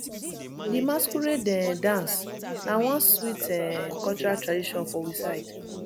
di masquerade um dance na one sweet um cultural tradition for we side